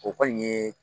O kɔni ye